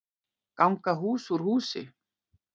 Ganga hús úr húsi